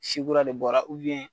Si kura de bɔra